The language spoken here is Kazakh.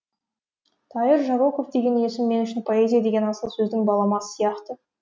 тайыр жароков деген есім мен үшін поэзия деген асыл сөздің баламасы сияқты